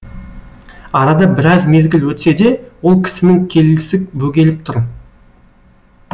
арада біраз мезгіл өтсе де ол кісінің келісі бөгеліп тұр